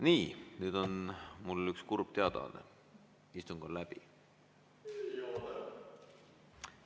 Nii, nüüd on mul üks kurb teadaanne: istung on läbi.